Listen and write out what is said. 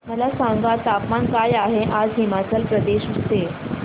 मला सांगा तापमान काय आहे आज हिमाचल प्रदेश चे